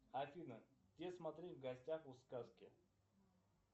афина где смотреть в гостях у сказки